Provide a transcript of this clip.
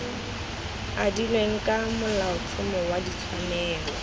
adilweng ka molaotlhomo wa ditshwanelo